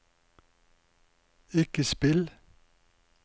ikke spill